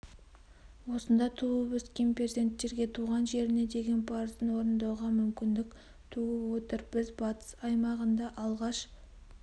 осында туып-өскен перзенттерге туған жеріне деген парызын орындауға мүмкіндік туып отыр біз батыс аймағында алғаш